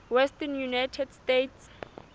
western united states